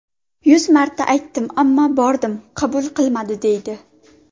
Yuz marta aytdim, ammo ‘bordim, qabul qilmadi’, deydi.